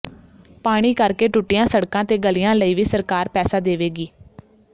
ਪਾਣੀ ਕਰਕੇ ਟੁੱਟੀਆਂ ਸੜਕਾਂ ਤੇ ਗਲੀਆਂ ਲਈ ਵੀ ਸਰਕਾਰ ਪੈਸਾ ਦੇਵੇਗੀ